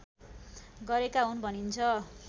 गरेका हुन् भनिन्छ